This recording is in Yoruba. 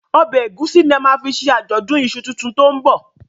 Ọbẹ egusi ní a má fí ṣe Ajọdun iṣu títún to'n bọ